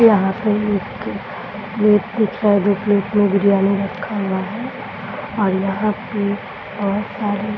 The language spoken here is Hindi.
यहां पर एक प्लेट में छह गो प्लेट में बिरयानी रखा हुआ है और यहां पर बहुत सारी --